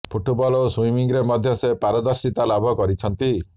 football ଓ ସୁଇମିଂରେ ମଧ୍ୟ ସେ ପାରଦର୍ଶିତା ଲାଭ କରିଛନ୍ତି